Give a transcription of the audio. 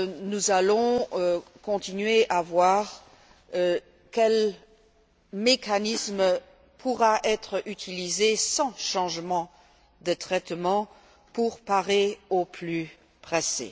Nous allons continuer à chercher quel mécanisme pourrait être utilisé sans changement de traitement pour parer au plus pressé.